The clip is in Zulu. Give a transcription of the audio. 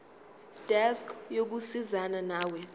desk yokusizana nawe